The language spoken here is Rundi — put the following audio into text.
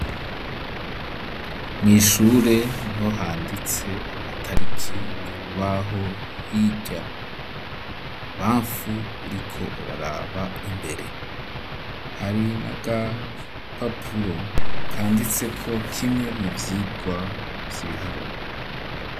mw,ishure niho handitse amatariki k,urubaho hirya, ibubamfu uriko uraraba imbere, hari n'agapapuro kanditseko kimwe mu vyigwa vy'ibiharuro.